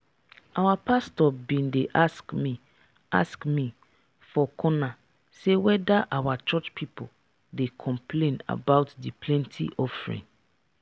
our pastor bin dey ask me ask me for corner say whether our church people dey complain about the plenty offering